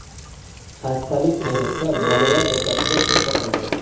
Xastalik, ayniqsa, bolalar o‘rtasida keng tarqalgan.